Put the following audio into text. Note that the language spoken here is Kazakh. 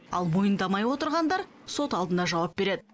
ал мойындамай отырғандар сот алдында жауап береді